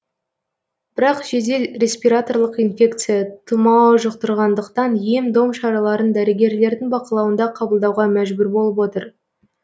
бірақ жедел респираторлық инфекция тұмау жұқтырғандықтан ем дом шараларын дәрігерлердің бақылауында қабылдауға мәжбүр болып отыр